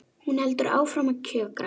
Hún heldur áfram að kjökra.